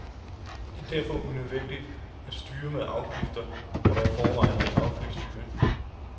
Det er derfor unødvendigt at styre med afgifter, hvor der i forvejen er indført offentlig styring.